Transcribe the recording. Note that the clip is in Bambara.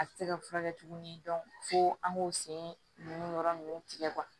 A tɛ se ka furakɛ tuguni fo an k'o sen nun yɔrɔ ninnu tigɛ